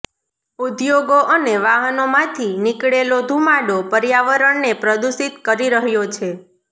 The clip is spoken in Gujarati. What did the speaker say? ઉદ્યોગો અને વાહનોમાંથી નીકળેલો ધુમાડો પર્યાવરણને પ્રદૂષિત કરી રહ્યો છે